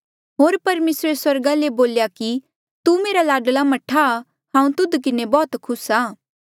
होर परमेसरे स्वर्गा ले बोल्या कि तू मेरा लाडला मह्ठा आ हांऊँ तुध किन्हें बौह्त खुस आ